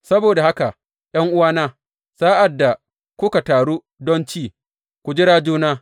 Saboda haka ’yan’uwana, sa’ad da kuka taru don ci, ku jira juna.